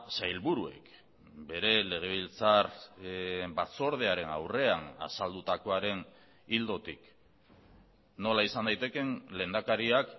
sailburuek bere legebiltzar batzordearen aurrean azaldutakoaren ildotik nola izan daitekeen lehendakariak